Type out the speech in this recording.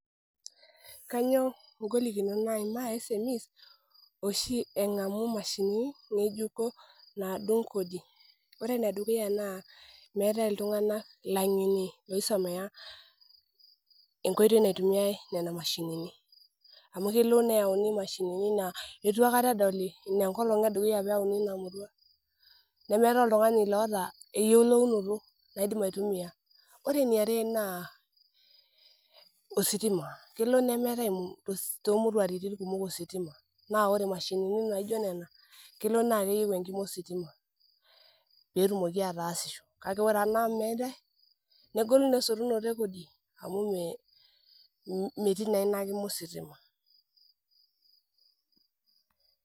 Ore ene dukuya naa meetae iltunganak oisomea nena mashinini amu kelo neyauni mashinini naa meeta oltungani oyiolo atumia ore enkae naa, ositima amu kelo neyieu nena mashinini ositima pee etumoki aataasisho, kake ore peeku meetae negolu esotunoto e kodi